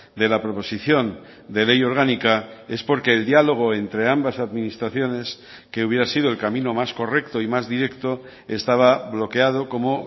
de la proposición de ley orgánica es porque el diálogo entre ambas administraciones que hubiera sido el camino más correcto y más directo estaba bloqueado como